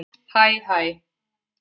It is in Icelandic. Hæ hæ